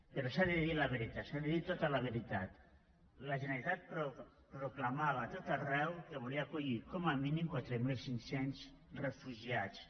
però s’ha de dir la veritat s’ha de dir tota la veritat la generalitat proclamava a tot arreu que volia acollir com a mínim quatre mil cinc cents refugiats